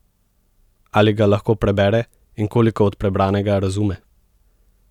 Ali ga lahko prebere in koliko od prebranega razume?